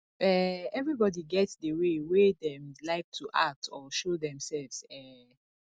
um everybody get the way wey dem like to act or show themselves um